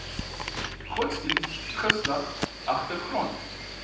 godsdiens geslag agtergrond